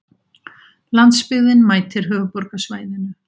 Landsbyggðin mætir höfuðborgarsvæðinu